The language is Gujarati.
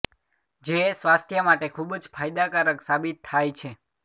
જે સ્વાસ્થ્ય માટે ખુબ જ ફાયદાકારક સાબિત થાય છે